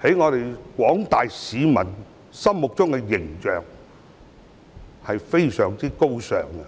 在廣大市民心目中的形象是非常高尚的。